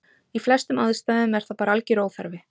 í flestum aðstæðum er það bara algjör óþarfi